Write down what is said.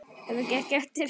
Þetta gekk eftir.